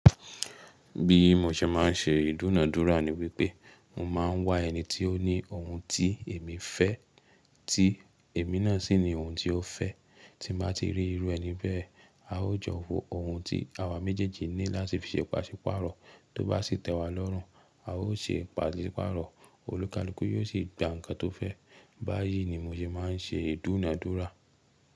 Bí mo ṣe má n se ìdúnadúrà ni wípé, mo ma ń wá ẹni tó ní ohun tí èmi fẹ́ tí èmi náà ṣì ní ohun tí ó fẹ́. Tín bá ti rí irú ẹni bẹ́ẹ̀, a ó jọ wo ohun tí àwa méjèèjì ní láti fi ṣe pàṣípààrọ̀. Tó bá ṣì tẹ́ wa lọ́rùn, a ó ṣe pàṣípààrọ̀. Olúkalúkú yóò ṣì gba nǹkan tó fẹ́. Báyìí ni mọ ṣe má n ṣe ìdúnadúrà.